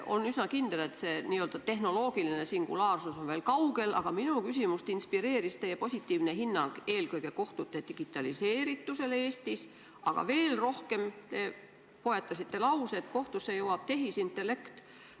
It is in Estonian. On üsna kindel, et see n-ö tehnoloogiline singulaarsus on veel kaugel, aga minu küsimust inspireeris teie positiivne hinnang eelkõige kohtute digitaliseeritusele Eestis, aga veel rohkem see, et te poetasite lause, et kohtusse jõuab tehisintellekt.